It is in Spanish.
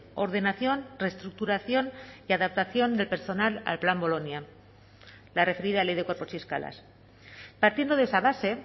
ordenación reestructuración y adaptación del personal al plan bolonia la referida ley de cuerpos y escalas partiendo de esa base